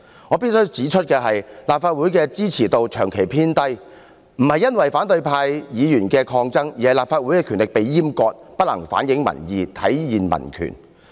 我必須指出，立法會的支持度長期偏低，並非因為反對派議員的抗爭，而是因為立法會的權力被閹割，不能反映民意，體現民權。